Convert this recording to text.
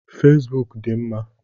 Fesbụụk dị mma.